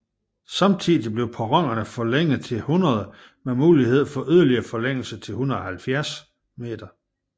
Samtidig blev perronerne forlænget til 100 med mulighed for yderligere forlængelse til 170 m